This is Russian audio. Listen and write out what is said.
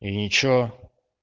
и ничего